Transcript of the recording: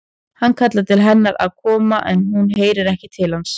Hann kallar til hennar að koma en hún heyrir ekki til hans.